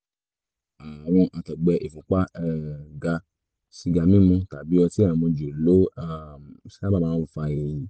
àrùn àtọ̀gbẹ ìfúnpá um ga sìgá mímu tàbí ọtí àmujù ló um sábà máa ń fa èyí